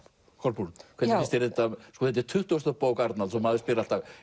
Kolbrún hvernig finnst þér þetta þetta er tuttugasta bók Arnalds og maður spyr alltaf